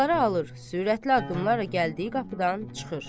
Kağızları alır, sürətli addımlarla gəldiyi qapıdan çıxır.